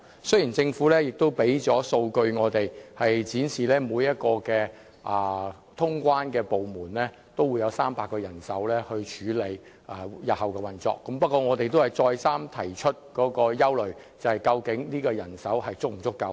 雖然政府已向我們提供數據，展示每一個通關部門也會有300名人手處理日後的運作，不過我們仍一再指出，我們憂慮人手究竟是否足夠。